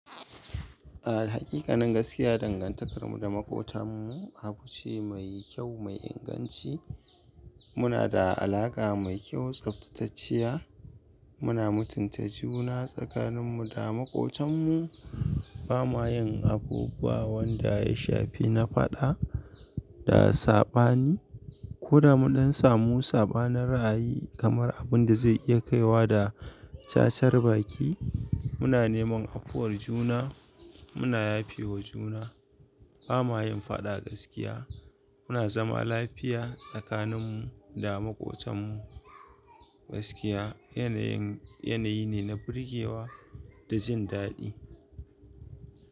A haƙiƙanin gaskiya dangantakarmu da maƙotanmu abu ce mai kyau, mai inganci. Muna da alaƙa mai kyau, tsaftatacciya. Muna mutunta juna tsakaninmu da maƙotanmu. Ba ma yin abubuwan da ya shafi na faɗa da saɓani ko da munɗan samu saɓanin ra'ayi kamar abin da zai iya kaiwa da cacar baki. Muna neman afuwar juna, muna yafewa juna. Ba ma yin faɗa gaskiya. Muna zama lafiya tsakaninmu da maƙotanmu. Gaskiya yanayi ne na birgewa da jin daɗi.